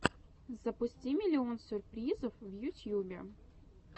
запусти миллион сюрпризов в ютьюбе